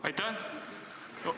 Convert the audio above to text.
Aitäh!